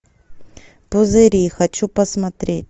пузыри хочу посмотреть